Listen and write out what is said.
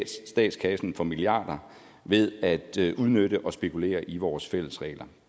statskassen for milliarder ved at udnytte og spekulere i vores fælles regler